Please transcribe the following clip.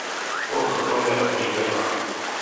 O, kako je oživela.